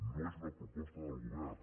no és una proposta del govern